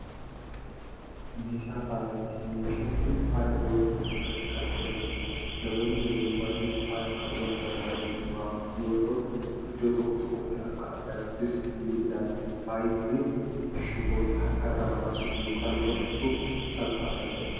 Meeshaa faayaati. meeshaan Kuni faaya yoo ta'u harkatti Kan godhatamuudha. namoonni yeroo baay'ee faaya Kan godhatan bareedumaaf yoo ta'u iddoo tokko tokkootti Akka aadaattis ni ilaalama. faayi Kuni shiboodha. harkarraa baasuuf yookaan godhachuuf salphaa kan ta'eedha.